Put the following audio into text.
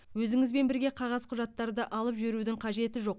өзіңізбен бірге қағаз құжаттарды алып жүрудің қажеті жоқ